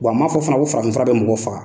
Wa n man fɔ fana ko farafin fura bɛ mɔgɔ faga.